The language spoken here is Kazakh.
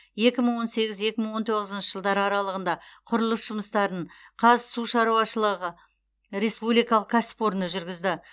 екі мың он сегіз екі мың он тоғызыншы жылдар аралығында құрылыс жұмыстарын қазсушаруашышылығы республикалық кәсіпорны жүргізді